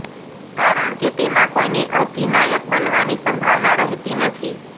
કારણ કે તેમાં કોઈની અધિનાયક બનવાની સંભાવના રહેતી નથી